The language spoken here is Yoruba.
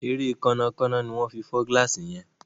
Ere Kànnà Kànnà ní wón fí fọ gilasi yén.